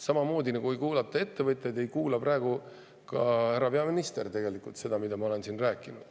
Samamoodi nagu ei kuulata ettevõtjaid, ei kuula praegu ka härra peaminister seda, mida ma siin räägin.